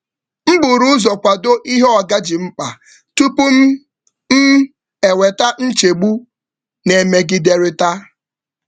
M buru ụzọ kwado ihe oga ji mkpa tupu m eweta nchegbu na-emegiderịta.